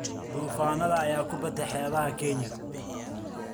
Duufaannada ayaa ku batay Xeebaha Kenya.